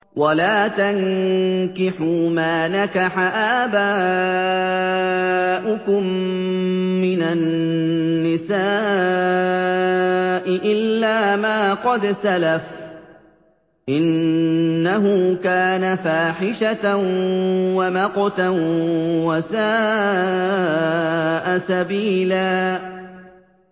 وَلَا تَنكِحُوا مَا نَكَحَ آبَاؤُكُم مِّنَ النِّسَاءِ إِلَّا مَا قَدْ سَلَفَ ۚ إِنَّهُ كَانَ فَاحِشَةً وَمَقْتًا وَسَاءَ سَبِيلًا